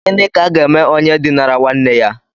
Gịnị ka aga eme onye dinara nwanne ya?